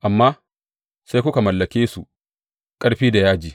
Amma sai kuka mallake su ƙarfi da yaji.